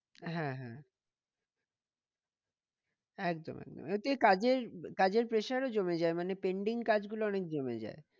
হ্যাঁ হ্যাঁ একদম একদম ওটাই কাজের কাজের pressure ও জমে যায় মানে pending কাজ গুলো অনেক জমে যায়।